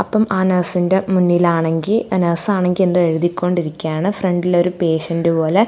ഇപ്പം ആ നേസിന്റെ മുന്നിലാണെങ്കിൽ ആ നേസണെങ്കിന്തോ എഴുതിക്കൊണ്ടിരിക്കുകയാണ് ഫ്രണ്ടിൽ ഒരു പേഷ്യന്റ് പോലെ--